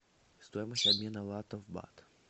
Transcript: стоимость обмена лата в бат